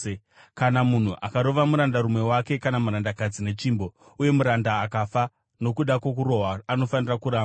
“Kana munhu akarova murandarume wake kana murandakadzi netsvimbo uye muranda akafa nokuda kwokurohwa, anofanira kurangwa,